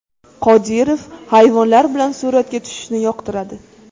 Qodirov hayvonlar bilan suratga tushishni yoqtiradi.